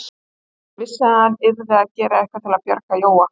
Hann vissi að hann yrði að gera eitthvað til að bjarga Jóa.